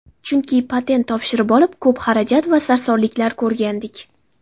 Chunki patent topshirib olib, ko‘p xarajat va sarsonliklar ko‘rgandik.